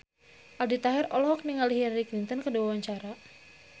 Aldi Taher olohok ningali Hillary Clinton keur diwawancara